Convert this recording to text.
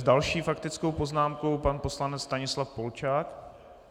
S další faktickou poznámkou pan poslanec Stanislav Polčák.